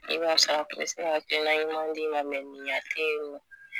hakilina ɲuman d'i ma